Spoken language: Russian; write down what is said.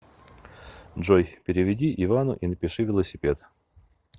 джой переведи ивану и напиши велосипед